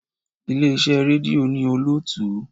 Ilé iṣẹ́ rédíò ní olótùú.